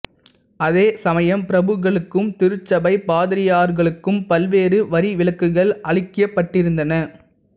அதே சமயம் பிரபுக்களுக்கும் திருச்சபை பாதிரியார்களுக்கும் பல்வேறு வரிவிலக்குகள் அளிக்கப்பட்டிருந்தன